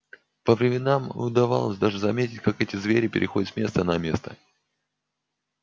по временам удавалось даже заметить как эти звери переходят с места на место